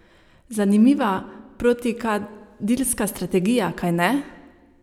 Zanimiva protikadilska strategija, kajne?